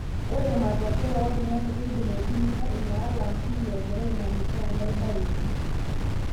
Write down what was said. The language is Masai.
Ore matokeyo oltungani keidim aitumiya ina alam tine egira aimanisha enkae bae pii.